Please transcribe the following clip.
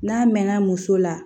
N'a mɛnna muso la